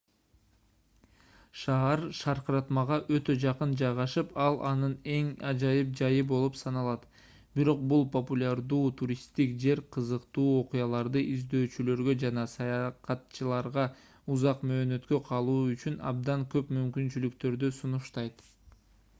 шаар шаркыратмага өтө жакын жайгашып ал анын эң ажайып жайы болуп саналат бирок бул популярдуу туристтик жер кызыктуу окуяларды издөөчүлөргө жана саякатчыларга узак мөөнөткө калуу үчүн абдан көп мүмкүнчүлүктөрдү сунуштайт